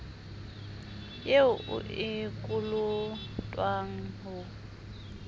eo o e kolotwang ho